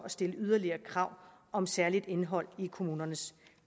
stille yderligere krav om særligt indhold i kommunernes